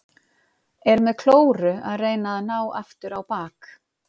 Er með klóru að reyna að ná aftur á bak.